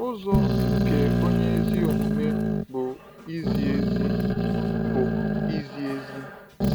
“Ụzọ nke Onye Ezi Omume bụ Izi Ezi.” bụ Izi Ezi.”